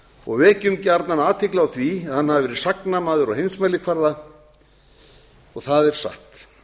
og vekjum gjarnan athygli á því að hann hafi verið sagnamaður á heimsmælikvarða og það er satt